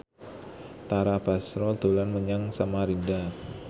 Tara Basro dolan menyang Samarinda